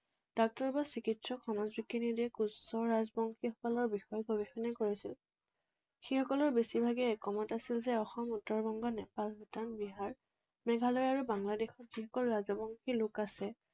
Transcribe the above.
doctor বা চিকিৎসক, সমাজ বিজ্ঞানী আদিয়ে কোচ ৰাজবংশীসকলৰ বিষয়ে গৱেষণা কৰিছিল, সেইসকলৰ বেছিভাগেই একমত আছিল যে অসম, উত্তৰ বংগ, নেপাল, ভূটান, বিহাৰ, মেঘালয় আৰু বাংলাদেশত যিসকল ৰাজবংশী লোক আছে,